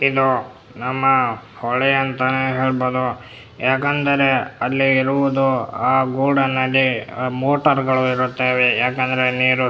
ಇದು ನಮ್ಮ ಹೊಳೆ ಅಂತಾನೆ ಹೇಳಬಹುದು ಯಾಕಂದ್ರೆ ಅಲ್ಲಿ ಇರುವುದು ಗೂಡು ನದಿ ಮೋಟಾರ್ ಗಳು ಇರುತ್ತವೆ ಯಾಕಂದ್ರೆ ನೀರು --